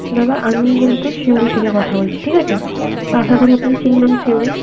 দাদা আমি কিন্তু সিউড়ি থেকে কথা বলছি ঠিক আছে? তা আশাকরি আপনি চিনবেন সিউড়ি.